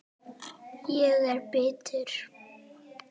Ég er bitur.